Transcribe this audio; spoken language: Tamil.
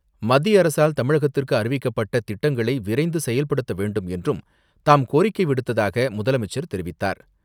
மத்திய அரசால் தமிழகத்திற்கு அறிவிக்கப்பட்ட திட்டங்களை விரைந்து செயல்படுத்த வேண்டும் என்றும் தாம் கோரிக்கை விடுத்ததாக முதலமைச்சர் தெரிவித்தார்.